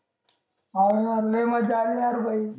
हा ना लई मज्जा आली यार भाई